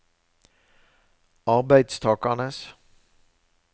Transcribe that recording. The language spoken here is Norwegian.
arbeidstakernes